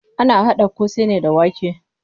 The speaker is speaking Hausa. Ana haɗa ƙosai ne da wake.